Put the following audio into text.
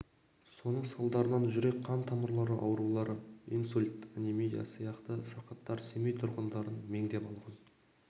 соның салдарынан жүрек қан тамырлары аурулары инсульт анемия сияқты сырқаттар семей тұрғындарын меңдеп алған